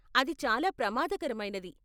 అది చాలా ప్రమాదకరమైనది.